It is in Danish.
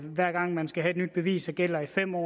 hver gang man skal have et nyt bevis som gælder i fem år